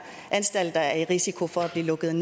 er i risiko for at blive lukket